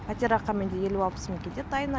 пәтерақы менде елу алпыс мың кетеді айына